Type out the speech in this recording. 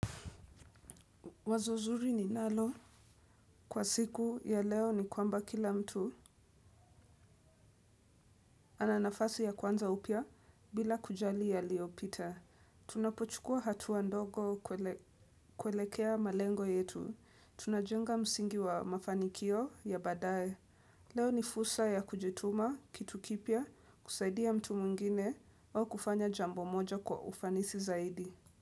Wazo zuri ninalo. Kwa siku ya leo ni kwamba kila mtu ana nafasi ya kuanza upya bila kujali yaliyopita. Tunapochukua hatua ndogo kuelekea malengo yetu. Tunajenga msingi wa mafanikio ya baadaye. Leo ni fursa ya kujituma kitu kipya, kusaidia mtu mwingine au kufanya jambo moja kwa ufanisi zaidi.